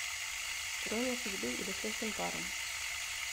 ирония судьбы или с легким паром